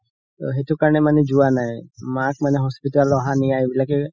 সেইটো কাৰণে মানে যোৱা নাই মাক মানে hospital অহা নিয়া এইবিলাকে